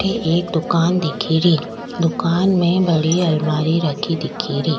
अठे एक दुकान दिखेरी दुकान में बड़ी अलमारी रखी दिखेरी।